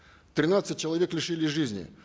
тринадцать человек лишились жизни